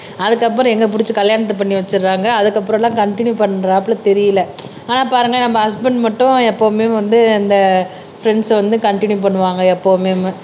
அதுக்கப்புறம் எங்க புடிச்சு கல்யாணத்த பண்ணி வச்சிருக்காங்க அதுக்கப்புறம்லாம் கண்டின்யூ பண்றாப்புல தெரியல ஆனா பாருங்க நம்ம ஹஸ்பண்ட் மட்டும் எப்பவுமே வந்து இந்த ஃப்ரெண்ட்ஸ வந்து கண்டின்யூ பண்ணுவாங்க எப்பவுமே